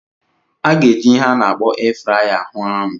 A ga-eji ihe a na-akpọ air fryer huu anu.